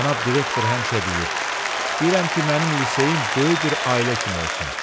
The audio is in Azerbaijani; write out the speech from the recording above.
Cənab direktor həmişə deyir: İstəyirəm ki, mənim liseyim böyük bir ailə kimi olsun.